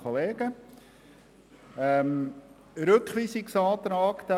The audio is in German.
Es liegt ein Rückweisungsantrag vor.